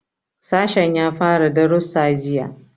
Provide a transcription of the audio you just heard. Sashen ya fara darussa jiya.